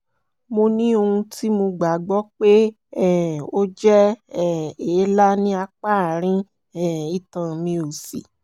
mo ní ohun tí mo gbàgbọ́ pé um ó jẹ́ um èélá ní apá àárín um itan mi òsì